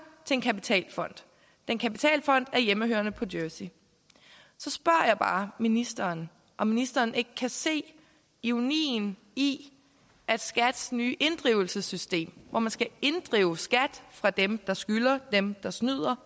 til en kapitalfond den kapitalfond er hjemmehørende på jersey så spørger jeg bare ministeren om ministeren ikke kan se ironien i at skats nye inddrivelsessystem hvor man skal inddrive skat fra dem der skylder dem der snyder